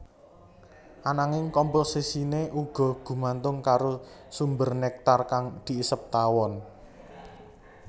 Ananging komposisiné uga gumantung karo sumber néktar kang diisep tawon